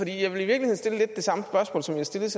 i virkeligheden stille lidt det samme spørgsmål som jeg stillede